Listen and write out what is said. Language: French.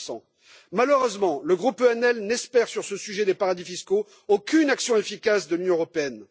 15 Malheureusement, le groupe ENL n'espère, sur ce sujet des paradis fiscaux, aucune action efficace de l'Union européenne.